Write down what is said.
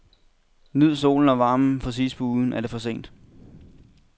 Nyd solen og varmen, for sidst på ugen er det for sent.